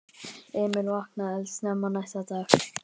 Emil vaknaði eldsnemma næsta dag.